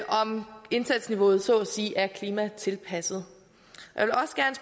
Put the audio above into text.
om indsatsniveauet så at sige er klimatilpasset